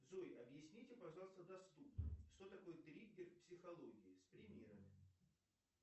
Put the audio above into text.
джой объясните пожалуйста доступно что такое триггер в психологии с примерами